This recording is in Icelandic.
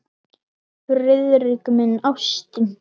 Friðrik minn, ástin.